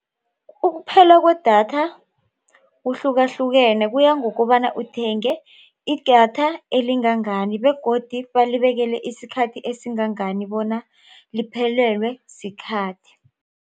Ukuphela kwedatha kuhlukahlukene kuya ngokobana uthenge idatha elingangani begodu balibekele isikhathi esingangani bona liphelelwe sikhathi.